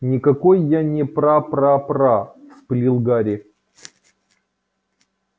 никакой я не прапрапра вспылил гарри